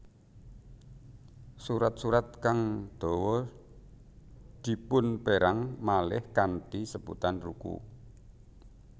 Surat surat kang dawa dipunperang malih kanthi sebutan ruku